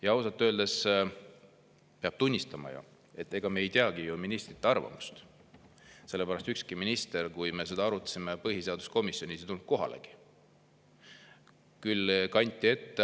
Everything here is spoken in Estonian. Ja ausalt öeldes peab tunnistama, et ega me ei teagi ju ministrite arvamust, sellepärast et ükski minister, kui me seda arutasime põhiseaduskomisjonis, ei tulnud kohalegi.